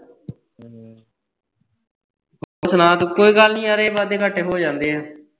ਹੋਰ ਸੁਣਾ ਤੂੰ ਕੋਈ ਗੱਲ ਨੀ ਯਾਰ ਇਹ ਵਾਧੇ ਘਾਟੇ ਹੋ ਜਾਂਦੇ ਏ ਆ